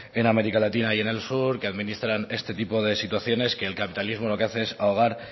en américa latina y en el sur que administran este tipo de situaciones que el capitalismo lo que hace es ahogar